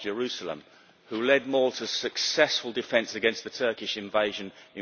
John of Jerusalem, who led Malta's successful defence against the Turkish invasion in